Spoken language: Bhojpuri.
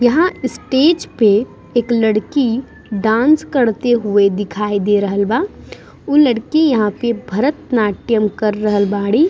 यहाँ स्टेज पे एक लड़की डांस करते हुए दिखाई दे रहल बा उ लड़की यहाँ पे भरतनाट्यम कर रहल बाड़ी |